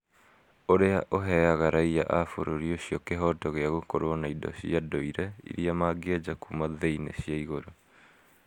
ũrĩa ũheaga raiya a bũrũri ũcio kĩhooto gĩa gũkorũo na indo cia ndũire iria mangĩeja kuuma thĩ-inĩ cia igũrũ.